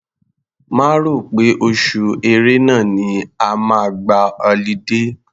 Má rò pé oṣù Ẹ̀rẹnà ni ẹ máa gba ọlidé.